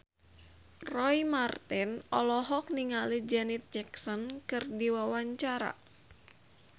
Roy Marten olohok ningali Janet Jackson keur diwawancara